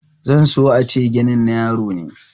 zan so a ce ginin na yaro ne